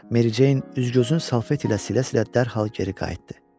Meri Ceyn üz-gözünü Salfet ilə silə-silə dərhal geri qayıtdı.